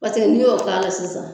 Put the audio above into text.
Paseke n'i y'o k'a la sisan